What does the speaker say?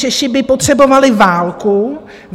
Češi by potřebovali válku.